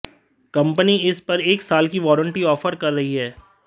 company इस पर एक साल की वारंटी ऑफर कर रही है